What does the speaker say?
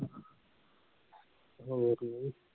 ਹੋਵੇ ਕੇ ਨਹੀਂ